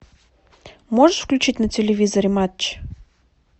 можешь включить на телевизоре матч